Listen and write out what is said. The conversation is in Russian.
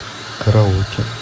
караоке